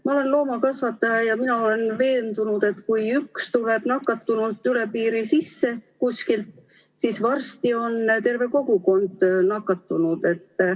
Ma olen loomakasvataja ja mina olen veendunud, et kui üks tuleb nakatunult üle piiri sisse kuskil, siis varsti on terve kogukond nakatunud.